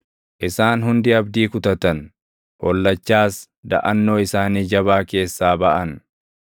Isaan hundi abdii kutatan; hollachaas daʼannoo isaanii jabaa keessaa baʼan.